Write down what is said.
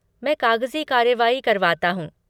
मैं कागज़ी कार्यवाही करवाता हूँ।